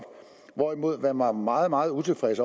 hvorimod man var meget meget utilfreds